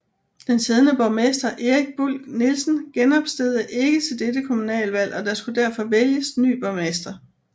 Den siddende borgmester Erik Buhl Nielsen genopstillede ikke til dette kommunalvalg og der skulle derfor vælges ny borgmester